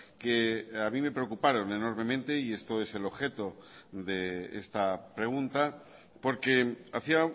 que a mí me preocuparon enormemente y esto es el objeto de esta pregunta porque hacía